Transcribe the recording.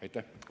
Aitäh!